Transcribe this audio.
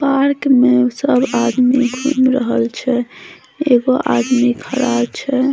Park मे सब आदमी घूम रहल छै एगो आदमी खड़ा छै।